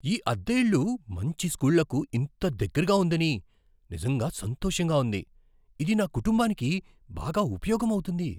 ఈ అద్దె ఇల్లు మంచి స్కూళ్ళకు ఇంత దగ్గరగా ఉందని నిజంగా సంతోషంగా ఉంది. ఇది నా కుటుంబానికి బాగా ఉపయోగం అవుతుంది.